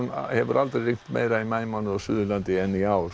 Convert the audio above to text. hefur aldrei rignt meira í maímánuði á Suðurlandi en í ár